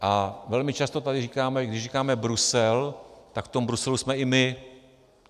A velmi často tady říkáme, když říkáme Brusel, tak v tom Bruselu jsme i my.